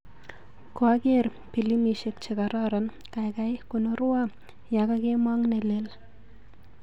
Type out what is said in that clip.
Kwaker pilimisiekchekororon, kaikai konorwa yekakemong nelel.